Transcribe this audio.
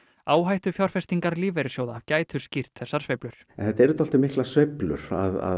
áhættufjárfestingar lífeyrissjóða gætu skýrt þessar sveiflur þetta eru dálítið miklar sveiflur